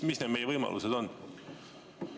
Mis meie võimalused on?